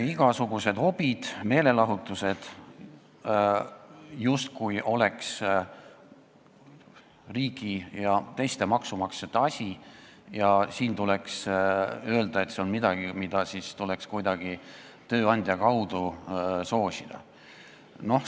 Igasugused hobid ja meelelahutus oleksid justkui riigi ja teiste maksumaksjate asi, see on midagi, mida tuleks kuidagi tööandja kaudu soosida.